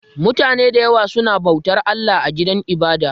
Mutane da yawa suna bautar Allah a gidan ibada